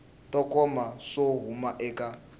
to koma swo huma eka